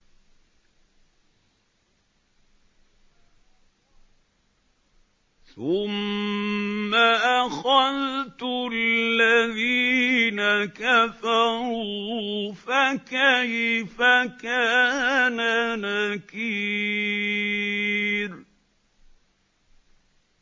ثُمَّ أَخَذْتُ الَّذِينَ كَفَرُوا ۖ فَكَيْفَ كَانَ نَكِيرِ